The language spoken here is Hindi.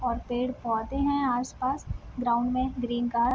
और पेड़-पौधे हैं आस-पास ग्राउंड में ग्रीन का --